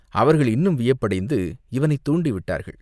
அவர்கள் இன்னும் வியப்படைந்து இவனைத் தூண்டி விட்டார்கள்.